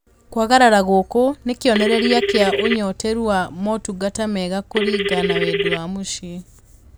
Kwagarara gũkũ nĩ kĩonereria kĩa ũnyoteru wa motungata mega kũringa na wendi wa mũciĩ